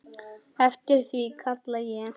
Eftir því kalla ég.